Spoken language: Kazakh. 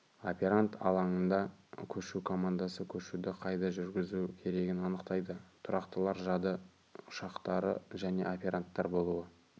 операнд алаңында көшу командасы көшуді қайда жүргізу керегін анықтайды тұрақтылар жады ұяшықтары және операндар болуы